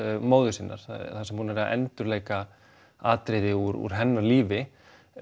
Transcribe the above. móður sinnar þar sem hún er að endurleika atriði úr hennar lífi